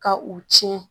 Ka u tiɲɛ